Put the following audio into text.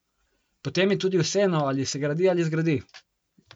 Potem je tudi vseeno, ali se gradi ali zgradi!